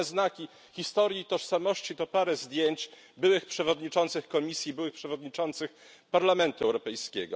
Jedyne znaki historii i tożsamości to parę zdjęć byłych przewodniczących Komisji, byłych przewodniczących Parlamentu Europejskiego.